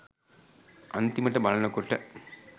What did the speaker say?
අන්තිමට බලන කොට